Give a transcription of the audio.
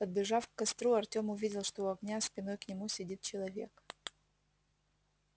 подбежав к костру артём увидел что у огня спиной к нему сидит человек